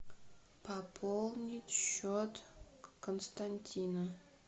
пополнить счет константина